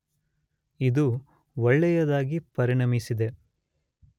ಇದು ಒಳ್ಳೆಯದಾಗಿ ಪರಿಣಮಿಸಿದೆ.